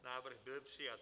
Návrh byl přijat.